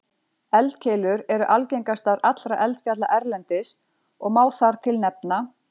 Eldkeilur eru algengastar allra eldfjalla erlendis og má þar til nefna